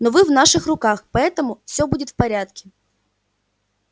но вы в наших руках поэтому всё будет в порядке